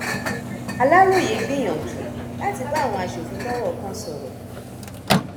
aláròye gbìyànjú láti bá àwọn aṣòfin tọrọ kan sọrọ